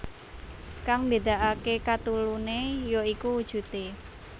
Kang mbédakaké kateluné ya iku wujudé